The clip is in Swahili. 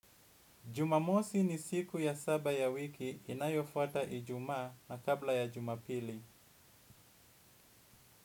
Jumamosi ni siku ya saba ya wiki inayofwata ijuma na kabla ya jumapili.